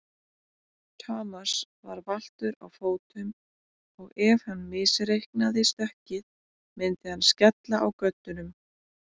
Thomas var valtur á fótum og ef hann misreiknaði stökkið myndi hann skella á göddunum.